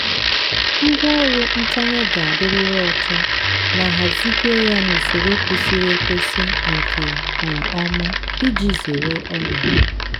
ngwá ọrụ ntanye ga-adịriri ọcha na hazikwe ya n’usoro kwesiri ekwesi nke um ọma iji zere ọrịa.